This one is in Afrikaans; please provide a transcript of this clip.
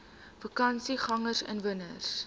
vakansiegangersinwoners